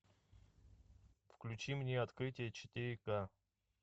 включи мне открытие четыре ка